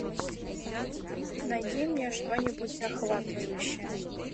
найди мне что нибудь захватывающее